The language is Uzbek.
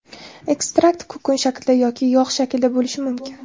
Ekstrakt kukun shaklida yoki yog‘ shaklida bo‘lishi mumkin.